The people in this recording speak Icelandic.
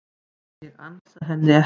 Ég ansa henni ekki.